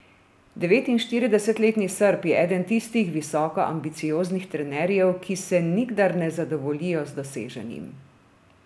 Devetinštiridesetletni Srb je eden tistih visoko ambicioznih trenerjev, ki se nikdar ne zadovoljijo z doseženim.